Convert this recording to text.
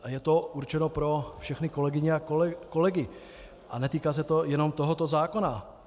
A je to určeno pro všechny kolegyně a kolegy a netýká se to jenom tohoto zákona.